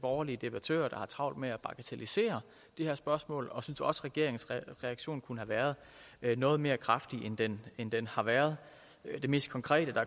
borgerlige debattører der har travlt med at bagatellisere det her spørgsmål og jeg synes også regeringens reaktion kunne have været noget mere kraftig end den end den har været det mest konkrete der